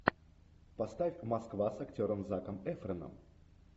поставь москва с актером заком эфроном